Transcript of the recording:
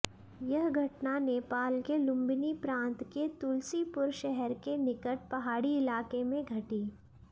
यह घटना नेपाल के लुंबिनी प्रांत के तुल्सीपूर शहर के निकट पहाड़ी इलाक़े में घटी